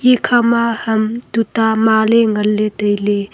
ekha ma ham tuta maley ngan ley tailey.